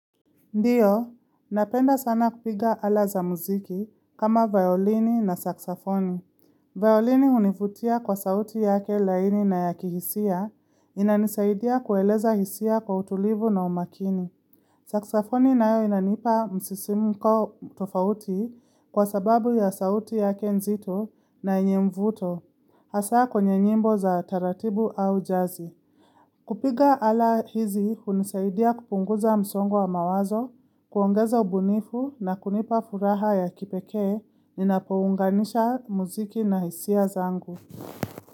Ndiyo, napenda sana kupiga ala za muziki kama violini na saksafoni. Violini hunivutia kwa sauti yake laini na yaki hisia, inanisaidia kueleza hisia kwa utulivu na umakini. Saksafoni nayo inanipa msisimu kwa tofauti kwa sababu ya sauti yake nzito na yenye mvuto, hasa kwenye nyimbo za taratibu au jazi. Kupiga ala hizi, unisaidia kupunguza msongwa mawazo, kuongeza ubunifu na kunipa furaha ya kipeke, ninapounganisha muziki na hisia zangu.